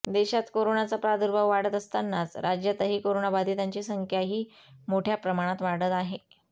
देशात करोनाचा प्रादुर्भाव वाढत असतानाच राज्यातही करोनाबाधितांची संख्याही मोठ्या प्रमाणात वाढत आहे